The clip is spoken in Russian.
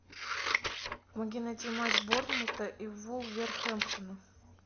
помоги найти матч борнмута и вулверхэмптона